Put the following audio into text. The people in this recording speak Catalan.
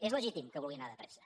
és legítim que vulgui anar de pressa